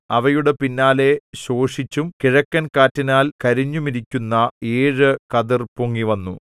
അവയുടെ പിന്നാലെ ശോഷിച്ചും കിഴക്കൻ കാറ്റിനാൽ കരിഞ്ഞുമിരിക്കുന്ന ഏഴു കതിർ പൊങ്ങിവന്നു